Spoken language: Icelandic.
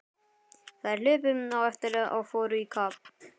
Þær hlupu á eftir og fóru í kapp.